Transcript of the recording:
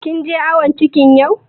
Kin je awon cikin yau?